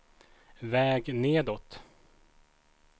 väg nedåt